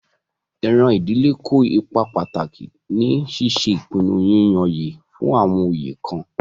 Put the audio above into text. Iran idile kó ipá pataki ni ṣiṣe ipinnu yiyanyẹ fun awọn oyé kan.